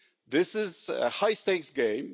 This is a high stakes game.